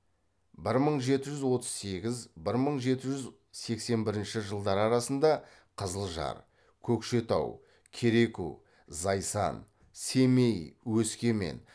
бір мың жеті жүз отыз сегіз бір мың жеті жүз сексен бірінші жылдар арасында қызылжар көкшетау кереку зайсан семей өскемен